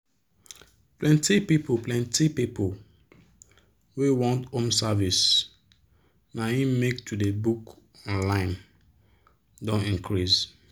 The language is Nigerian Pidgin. plenti people plenti people wey want home service na im make to dey book online don increase.